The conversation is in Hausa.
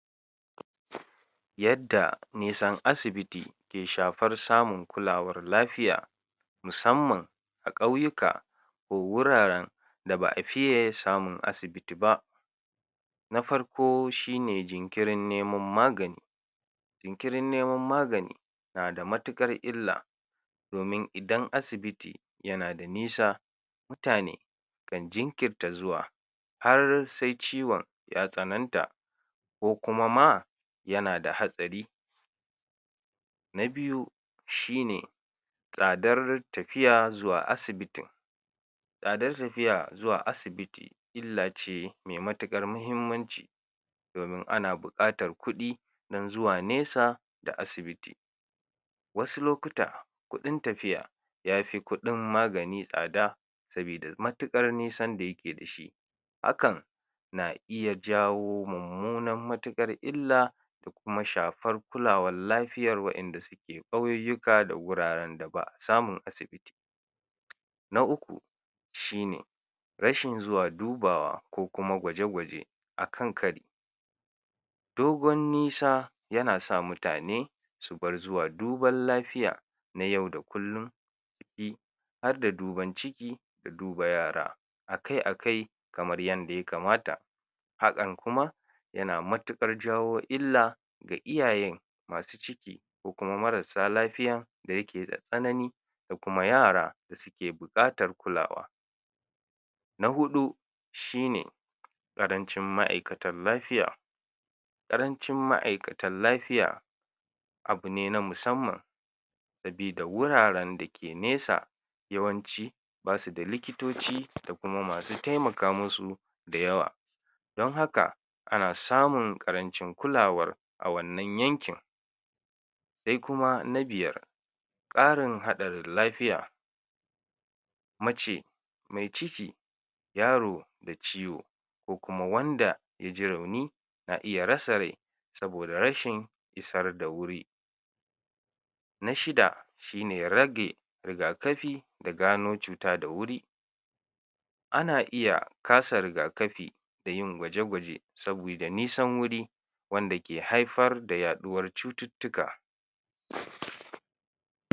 Yadda nisan asibiti ke shafar samun kulawar lafiya musamman a ƙauyuka ko wuraren da ba'a fite samun asibiti ba, na farko shine jinkirin neman magani, jinkirin neman magani nada matiƙar illa, domin idan asibiti yana da nisa mutane kan jinkirta zuwa har se ciwon ya tsananta, ko kuma ma yana da hatsari. Na biyu shine: Tsadar tafiya zuwa asibitin, tsadar tafiya zuwa asibiti illa ce me matiƙar mahimmanci domin ana buƙatar kuɗi dan zuwa nesa da asibiti, wasu lokuta kuɗin tafiya yafi kuɗin magani tsada, sabida matiƙar nisan da yake da shi, hakan na iya jawo mummunar matiƙar ila da kuma shafar kulawal lafiyar waɗanda sike ƙauyuyyuka da wuraren da ba'a samun asibiti. Na uku: Shine: rashin zuwa dubawa ko kuma gwaje gwaje akan kari, dogon nisa yana sa mutane subar zuwa duban lafiya na yau da kullun siƙi harda duban ciki da duba yara akai akai kamar yanda ya kamata, haƙan kuma yana matiƙar jawo illa ga iyayen masu ciki ko kuma marassa lafiyan da yake da tsanani da kuma yara da sike buƙatar kulawa. Na huɗu: Shine: ƙarancin ma'aikatan lafiya, ƙarancin ma'aikatan lafiya abune na musamman sabida wuraren da ke nesa yawanci bisida likitoci da kuma masu temaka masu da yawa, don haka ana samun ƙarancin kulawar a wannan yankin. Sai kuma na biyar: Ƙarin haɗarin lafiya mace mai ciki, yaro da ciwo, ko kuma wanda yaji rauni na iya rasa rai saboda rashin isar da wuri. Na shida: Shine rage riga-kafi da gano cuta da wuri, ana iya kasa riga-kafi da yin gwaje-gwaje sabida nisan wuri wanda ke haifar da yaɗuwar cututtuka.